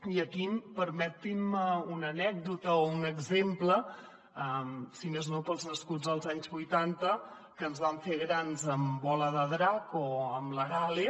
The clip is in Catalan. i aquí permetin me una anècdota o un exemple si més no per als nascuts als anys vuitanta que ens vam fer grans amb bola de drac o amb l’arale